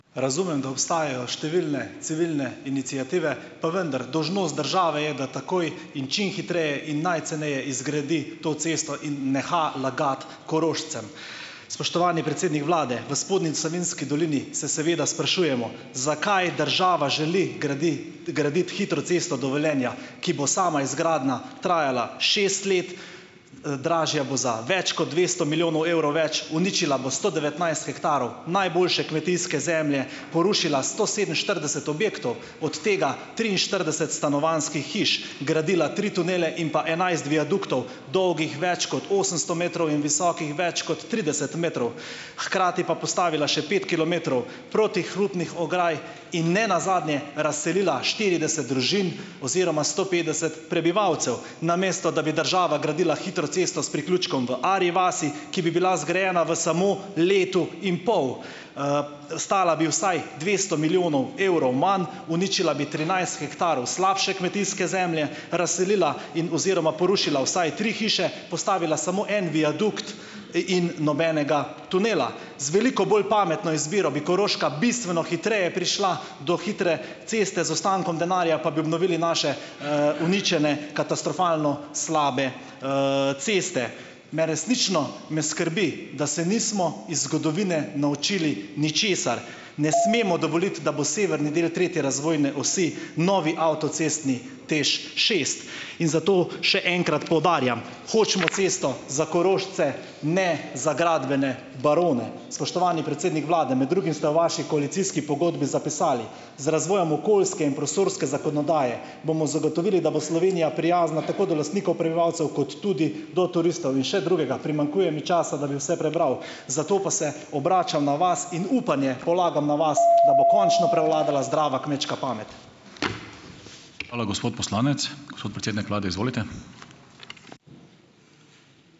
Razumem, da obstajajo številne civilne iniciative, pa vendar, države je, da takoj in čim hitreje in najceneje izgradi to cesto in neha lagati Korošcem. Spoštovani predsednik vlade, v spodnji Savinjski dolini se seveda sprašujemo, zakaj država želi graditi hitro cesto do Velenja, ki bo sama izgradnja trajala šest let, dražja bo za več kot dvesto milijonov evrov več, uničila bo sto devetnajst hektarov najboljše kmetijske zemlje, porušila sto sedeminštirideset objektov, od tega triinštirideset stanovanjskih hiš, gradila tri tunele in pa enajst viaduktov, dolgih več kot osemsto metrov in visokih več kot trideset metrov, hkrati pa postavila še pet kilometrov protihrupnih ograj in ne nazadnje razselila štirideset družin oziroma sto petdeset prebivalcev, namesto da bi država gradila hitro cesto s priključkom v Arji vasi, ki bi bila zgrajena v samo letu in pol. stala bi vsaj dvesto milijonov evrov manj, uničila bi trinajst hektarov slabše kmetijske zemlje, razselila in oziroma porušila vsaj tri hiše, postavila samo en viadukt, in nobenega tunela. Z veliko bolj pametno izbiro bi Koroška bistveno hitreje prišla do hitre ceste, z ostankom denarja pa bi obnovili naše, uničene, katastrofalno slabe, ceste. Me resnično me skrbi, da se nismo iz zgodovine naučili ničesar. Ne smemo dovoliti, da bo severni del tretje razvojne osi novi avtocestni TEŠšest. In zato še enkrat poudarjam. Hočemo cesto za Korošce, ne za gradbene barone. Spoštovani predsednik vlade, med drugim ste v vaši koalicijski pogodbi zapisali: "Z razvojem okoljske in prostorske zakonodaje bomo zagotovili, da bo Slovenija prijazna tako do lastnikov, prebivalcev, kot tudi do turistov." In še drugega. Primanjkuje mi časa, da bi vse prebral. Zato pa se obračam na vas in upanje polagam na vas, da bo končno prevladala zdrava kmečka pamet. Hvala, gospod poslanec, gospod predsednik vlade, izvolite.